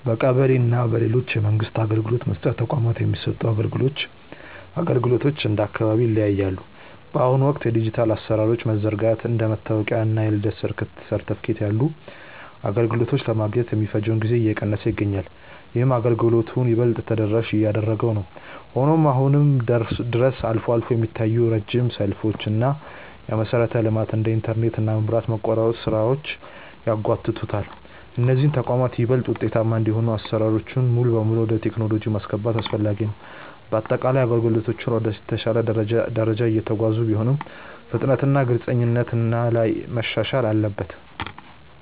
በቀበሌ እና በሌሎች የመንግስት አገልግሎት መስጫ ተቋማት የሚሰጡ አገልግሎቶች እንደየአካባቢው ይለያያሉ። በአሁኑ ወቅት የዲጂታል አሰራሮች መዘርጋቱ እንደ መታወቂያ እና የልደት ምስክር ወረቀት ያሉ አገልግሎቶችን ለማግኘት የሚፈጀውን ጊዜ እየቀነሰው ይገኛል። ይህም አገልግሎቱን ይበልጥ ተደራሽ እያደረገው ነው። ሆኖም አሁንም ድረስ አልፎ አልፎ የሚታዩ ረጅም ሰልፎች እና የመሰረተ ልማት (እንደ ኢንተርኔት እና መብራት) መቆራረጥ ስራዎችን ያጓትታሉ። እነዚህ ተቋማት ይበልጥ ውጤታማ እንዲሆኑ አሰራሮችን ሙሉ በሙሉ ወደ ቴክኖሎጂ ማስገባት አስፈላጊ ነው። በአጠቃላይ አገልግሎቶቹ ወደ ተሻለ ደረጃ እየተጓዙ ቢሆንም፣ ፍጥነትና ግልጽነት ላይ መሻሻል አለበት።